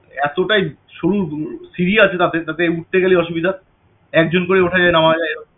এতটাই সরু সিঁড়ি আছে তাদের তাতে উঠতে গেলে অসুবিধা এক জন করে ওঠা যায় নামা যায় এরম~